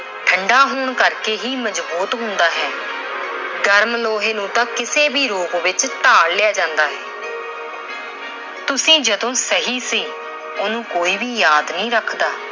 ਠੰਡਾ ਹੋਣ ਕਰਕੇ ਹੀ ਮਜ਼ਬੂਤ ਹੁੰਦਾ ਹੈ। ਗਰਮ ਲੋਹੇ ਨੂੰ ਤਾਂ ਕਿਸੇ ਵੀ ਰੂਪ ਵਿੱਚ ਢਾਲ ਲਿਆ ਜਾਂਦਾ ਹੈ। ਤੁਸੀਂ ਜਦੋਂ ਸਹੀ ਸੀ, ਉਹਨੂੰ ਕੋਈ ਵੀ ਯਾਦ ਨਹੀਂ ਰੱਖਦਾ